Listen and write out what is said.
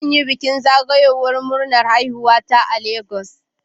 Zan yi bikin zagayowar ranar haihuwata a Legas.